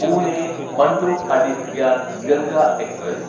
പൂനെ മണ്ടുഅടിഹ് ഗ്യാൻ ഗംഗ എക്സ്പ്രസ്